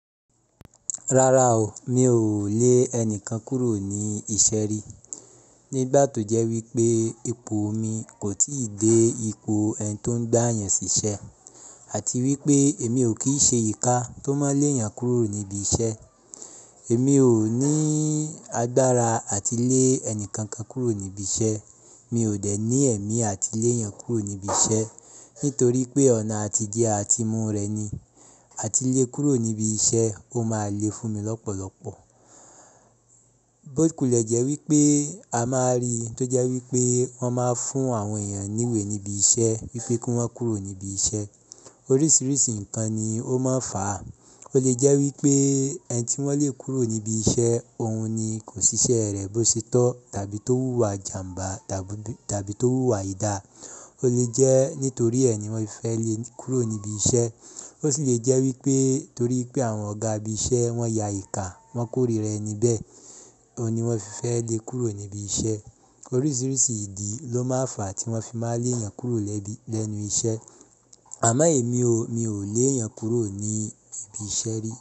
Rara o, mi ò lé ẹnikan kúrò ní iṣẹ́ rí. Nígbà tó jẹ́ wípé ipò mi kò ì tí ì dé ipò ẹni tó ń gbà yẹn sí iṣẹ́ àti wípé èmi ò kí ṣe ìka tó máa lé èèyàn kúrò níbí iṣẹ́. Èmi ò ní agbára àti lé ẹnìkankan kúrò níbí iṣẹ́. Mi ò dẹ̀ ní ẹ̀mí àti lé èèyàn kúrò níbí iṣẹ́ nítorí pé ọ̀nà àti jẹ́ àtimú rẹ̀ ni. Àti lé kúrò níbí iṣẹ́ ó máa le fún mi lọ́pọ̀lọpọ̀. Bót kulẹ̀ jẹ́ wípé a máa rí tó jẹ́ wípé wọ́n máa ń fún àwọn èèyàn ní ìwé níbí iṣẹ́ wípé kí wọ́n kúrò níbí iṣẹ́. Oríṣiríṣi nǹkan ni ó máa ń fà á. Ó lè jẹ́ wípé ẹni tí wọ́n lè kúrò níbí iṣẹ́, òun ni kò ṣiṣẹ́ rẹ̀ bó ṣe tọ́ tàbí tó wúwa ìjàmbá tàbí tó wúwa aidà. Ó lè jẹ́ nítorí ẹni wọn fi fẹ́ lé e kúrò níbí iṣẹ́. Ó sì lè jẹ́ wípé torí pé àwọn ọ̀gá ibi iṣẹ́ wọ́n ya ìka, wọ́n kórìí rẹ̀ níbẹ̀. Òun ni wọ́n fi fẹ́ lé e kúrò níbí iṣẹ́. Oríṣiríṣi ìdí ló máa ń fà àti wọ́n fi máa lé èèyàn kúrò lẹ́nu iṣẹ́. Àmọ́ èmi o, mi ò lé ẹ̀yàn kúrò ní ibi iṣẹ́ rí.